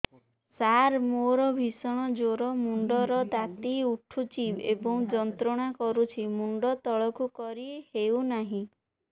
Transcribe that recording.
ସାର ମୋର ଭୀଷଣ ଜ୍ଵର ମୁଣ୍ଡ ର ତାତି ଉଠୁଛି ଏବଂ ଯନ୍ତ୍ରଣା କରୁଛି ମୁଣ୍ଡ ତଳକୁ କରି ହେଉନାହିଁ